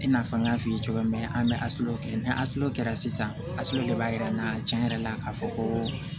I n'a fɔ n y'a f'i ye cogoya min na an bɛ kɛ ni kɛra sisan de b'a yira n na tiɲɛ yɛrɛ la k'a fɔ ko